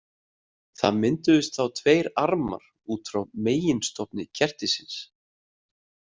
Mynduðust þá tveir armar út frá meginstofni kertisins.